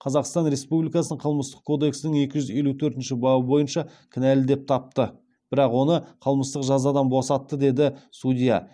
қазақстан республикасының қылмыстық кодексінің екі жүз елу төртінші бабы бойынша кінәлі деп тапты бірақ оны қылмыстық жазадан босатты деді судья